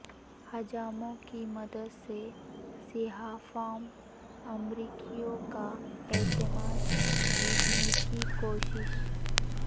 حجاموں کی مدد سے سیاہ فام امریکیوں کا اعتماد جیتنے کی کوشش